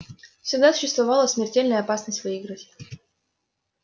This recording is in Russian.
всегда существовала смертельная опасность выиграть